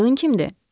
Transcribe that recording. Qadın kimdir?